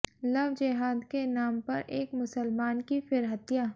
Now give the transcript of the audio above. love जेहाद के नाम पर एक मुसलमान की फिर हत्या